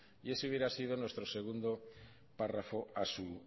enmienda y eso hubiera sido nuestro segundo párrafo a